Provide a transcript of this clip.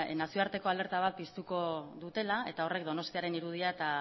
nazioarteko alerta bat piztuko dutela eta horrek donostiaren irudia eta